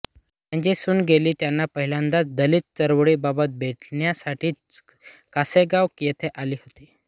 त्यांची सून गेल ही त्यांना पहिल्यांदा दलित चळवळीबाबत भेटण्यासाठीच कासेगाव येथे आली होती